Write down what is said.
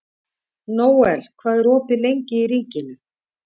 Nóel, hvað er opið lengi í Ríkinu?